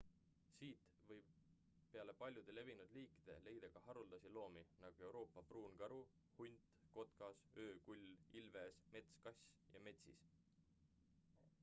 siit võib peale paljude levinud liikide leida ka haruldasi loomi nagu euroopa pruunkaru hunt kotkas öökull ilves metskass ja metsis